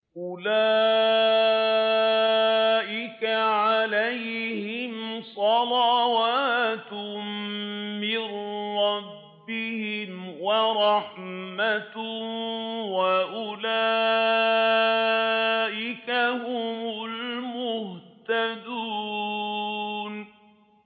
أُولَٰئِكَ عَلَيْهِمْ صَلَوَاتٌ مِّن رَّبِّهِمْ وَرَحْمَةٌ ۖ وَأُولَٰئِكَ هُمُ الْمُهْتَدُونَ